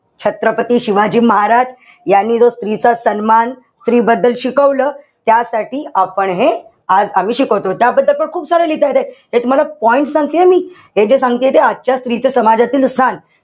छत्रपती शिवाजी महाराज यांनी जो स्त्रीचा सन्मान, स्त्री बद्दल शिकवलं. त्यासाठी आपण हे आज आम्ही शिकवतोय. याबद्दल तर खूप सारं लिहिता येतंय. तुम्हाला points सांगतेय हं मी. हे जे सांगतेय ते आजच्या स्त्रीच्या समाजातील स्थान,